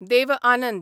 Dev Anand